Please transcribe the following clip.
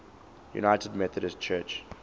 united methodist church